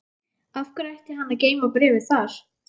Af hverju ætti hann að geyma bréfið þar?